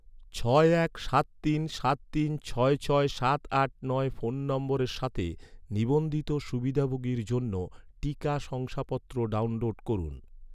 ছয় এক সাত তিন সাত তিন ছয় ছয় সাত আট নয় ফোন নম্বরের সাথে, নিবন্ধিত সুবিধাভোগীর জন্য, টিকা শংসাপত্র ডাউনলোড করুন